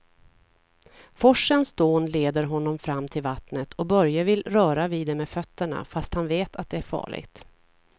Forsens dån leder honom fram till vattnet och Börje vill röra vid det med fötterna, fast han vet att det är farligt.